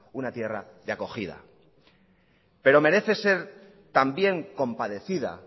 una tierra de acogida pero merece ser también compadecida